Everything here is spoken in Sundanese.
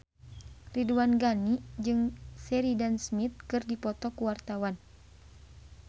Ridwan Ghani jeung Sheridan Smith keur dipoto ku wartawan